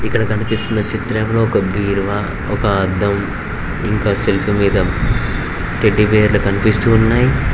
ఇక్కడ కనిపిస్తున్న చిత్రంలో ఒక బీరువా ఒక అద్దం ఇంకా సెల్ఫ్ మీద టెడ్డిబేర్లు కనిపిస్తూ ఉన్నాయ్.